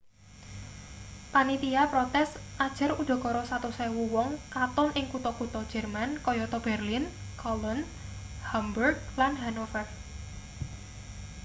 panitia protes ujar udakara 100.000 wong katon ing kutha-kutha jerman kayata berlin cologne hamburg lan hanover